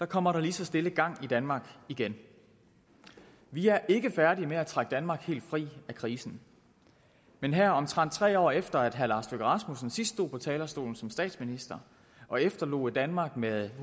kommer der lige så stille gang i danmark igen vi er ikke færdige med at trække danmark helt fri af krisen men her omtrent tre år efter herre lars løkke rasmussen sidst stod på talerstolen som statsminister og efterlod et danmark med